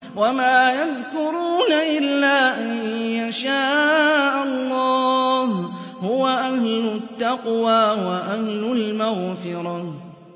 وَمَا يَذْكُرُونَ إِلَّا أَن يَشَاءَ اللَّهُ ۚ هُوَ أَهْلُ التَّقْوَىٰ وَأَهْلُ الْمَغْفِرَةِ